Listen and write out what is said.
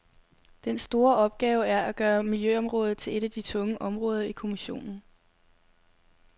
Den store opgave er at gøre miljøområdet til et af de tunge områder i kommissionen.